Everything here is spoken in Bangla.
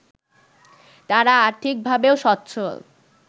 তারা আর্থিকভাবেও স্বচ্ছল